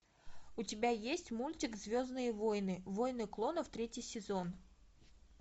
у тебя есть мультик звездные войны войны клонов третий сезон